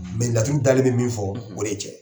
Mais laturu dali bɛ min fɔ o de ye cɛn ye